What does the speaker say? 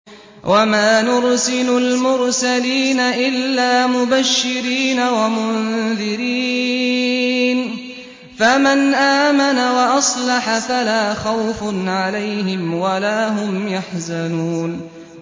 وَمَا نُرْسِلُ الْمُرْسَلِينَ إِلَّا مُبَشِّرِينَ وَمُنذِرِينَ ۖ فَمَنْ آمَنَ وَأَصْلَحَ فَلَا خَوْفٌ عَلَيْهِمْ وَلَا هُمْ يَحْزَنُونَ